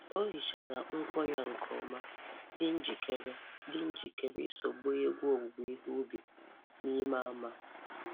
O hichara ngwọ ya nke ọma, dị njikere dị njikere iso gbaa egwu owuwe ihe ubi n’ime ama.